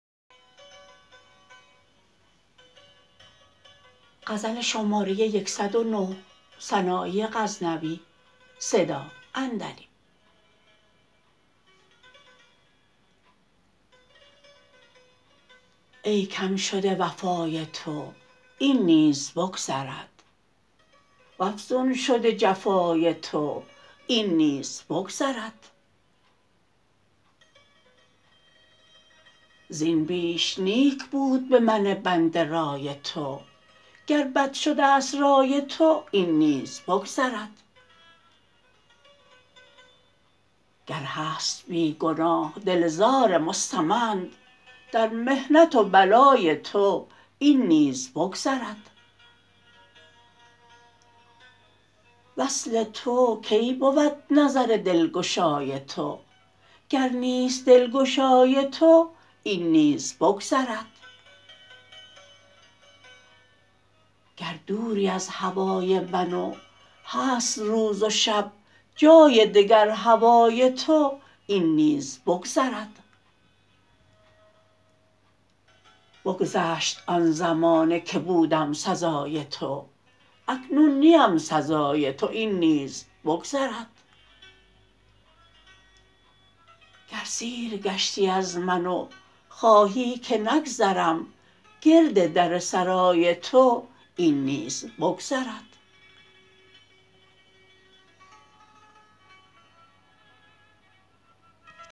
ای کم شده وفای تو این نیز بگذرد و افزون شده جفای تو این نیز بگذرد زین بیش نیک بود به من بنده رای تو گر بد شده ست رای تو این نیز بگذرد گر هست بی گناه دل زار مستمند در محنت و بلای تو این نیز بگذرد وصل تو کی بود نظر دلگشای تو گر نیست دلگشای تو این نیز بگذرد گر دوری از هوای من و هست روز و شب جای دگر هوای تو این نیز بگذرد بگذشت آن زمانه که بودم سزای تو اکنون نیم سزای تو این نیز بگذرد گر سیر گشتی از من و خواهی که نگذرم گرد در سرای تو این نیز بگذرد